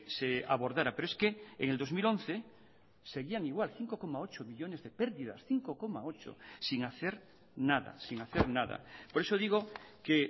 se abordará pero es que en el dos mil once seguían igual cinco coma ocho millónes de perdidas cinco coma ocho sin hacer nada sin hacer nada por eso digo que